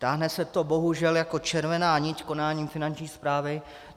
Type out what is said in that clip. Táhne se to bohužel jako červená nit konáním Finanční správy.